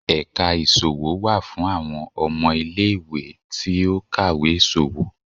ẹka isòwó wá fún awọn ọmọ ile-iwe ti o kawé iṣowo.